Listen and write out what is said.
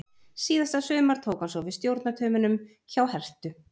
Síðasta sumar tók hann svo við stjórnartaumunum hjá Herthu.